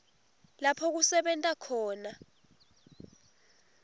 lapho kusebenta khona